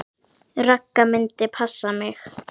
Ragga myndi passa mig.